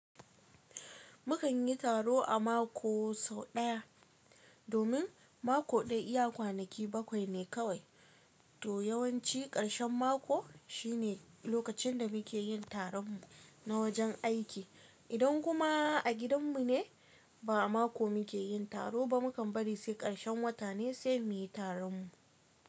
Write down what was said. Mukan yi taro a mako sau ɗaya, domin mako ɗaya iya kwanaki bakwai ne kawai, to yawanci ƙarshen mako shine lokacin da muke yin taron mu na wajen aiki. Idan kuma a gidan mune, ba'a mako muke yin taro ba, mukan bari se ƙarshen wata ne se muyi taron mu.